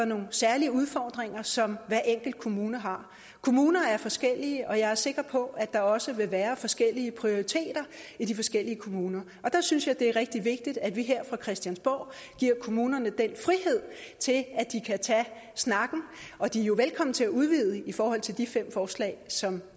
nogle særlige udfordringer som hver enkelt kommune har kommuner er forskellige og jeg er sikker på at der også vil være forskellige prioriteter i de forskellige kommuner der synes jeg det er rigtig vigtigt at vi her på christiansborg giver kommunerne den frihed til at de kan tage snakken og de er jo velkomne til at udvide i forhold til de fem forslag som